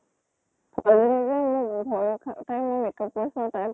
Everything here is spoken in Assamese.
তাই মোৰ makeup কৰিছিল তাই